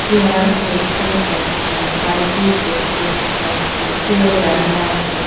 chair দেখতে পাচ্ছি বালতি দেখতে পাচ্ছি কেউ রান্না কর --